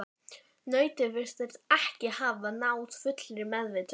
Nautið virtist ekki hafa náð fullri meðvitund.